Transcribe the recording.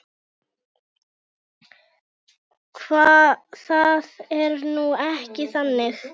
Það er nú ekki þannig.